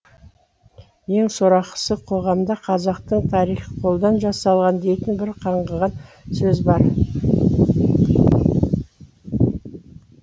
ең сорақысы қоғамда қазақтың тарихы қолдан жасалған дейтін бір қаңғыған сөз бар